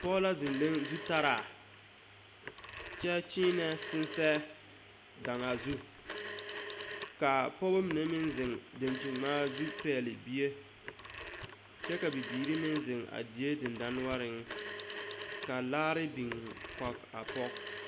Pɔge la zeŋ leŋ zutaraa kyɛ kyiinɛ sensɛɛ daŋaa zu ka a pɔgeba mine meŋ zeŋ dankyiniŋmaa zu pɛgle bie kyɛ ka bibiiri meŋ zeŋ a die dendɔnoɔreŋ ka laare biŋ kɔge a pɔge.